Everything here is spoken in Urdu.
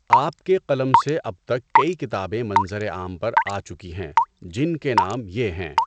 آپ کے قلم سے اب تک کئی کتابیں منظرِ عام پر آچکی ہیں، جن کے نام یہ ہیں۔